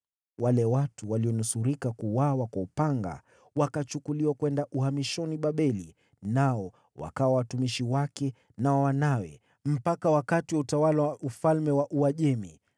Wale watu walionusurika kuuawa kwa upanga wakachukuliwa kwenda uhamishoni Babeli. Nao wakawa watumishi wake na wa wanawe mpaka wakati wa utawala wa ufalme wa Uajemi ulifika.